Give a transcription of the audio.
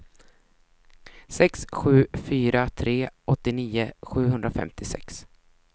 sex sju fyra tre åttionio sjuhundrafemtiosex